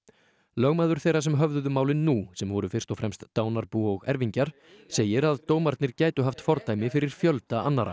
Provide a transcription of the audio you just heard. lögmaður þeirra sem höfðuðu málin nú sem voru fyrst og fremst dánarbú og erfingjar segir að dómarnir gætu haft fordæmi fyrir fjölda annarra